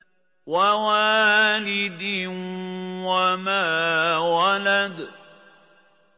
وَوَالِدٍ وَمَا وَلَدَ